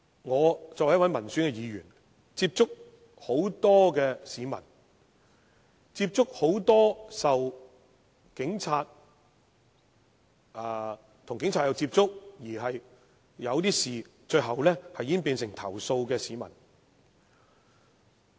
我作為民選議員，接觸很多市民，其中很多曾與警察接觸，而事情最後演變為投訴。